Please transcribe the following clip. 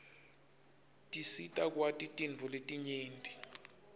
tisita kwati tintfo letinyenti